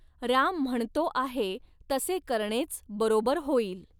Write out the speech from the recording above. राम म्हणतो आहे तसे करणेच बरोबर होईल.